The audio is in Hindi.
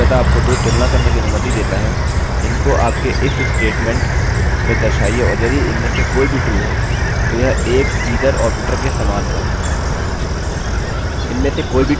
यह मूलतः आपको दो तुलना करने कि अनुमति देता है इनको आपके if statementस्टेटमेंट में दर्शाइए और यदि इनमें से कोई भी true है तो यह एक either ऑपरेटर के समान है